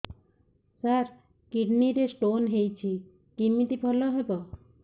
ସାର kidney ରେ stone ହେଇଛି କମିତି ଭଲ ହେବ